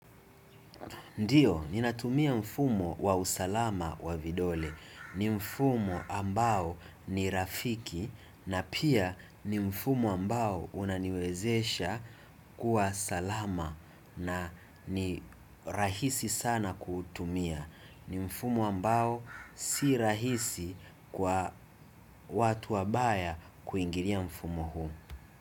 Ndiyo, ninatumia mfumo wa usalama wa vidole. Ni mfumo ambao ni rafiki na pia ni mfumo ambao unaniwezesha kuwa salama na ni rahisi sana kutumia. Ni mfumo ambao si rahisi kwa watu wabaya kuingiria mfumo huu.